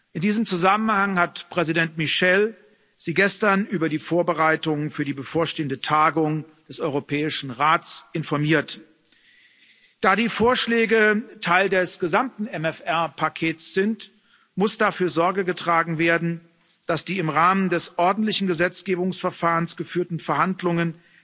In diesem Zusammenhang hat Präsident Michel Sie gestern über die Vorbereitungen für die bevorstehende Tagung des Europäischen Rates informiert. Da die Vorschläge Teil des gesamten MFR Pakets sind, muss dafür Sorge getragen werden, dass die im Rahmen des ordentlichen Gesetzgebungsverfahrens geführten Verhandlungen